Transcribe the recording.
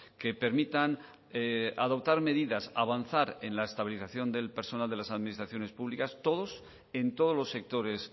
que permitan adoptar medidas avanzar en la estabilización del personal de las administraciones públicas todos en todos los sectores